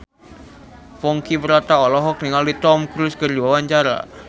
Ponky Brata olohok ningali Tom Cruise keur diwawancara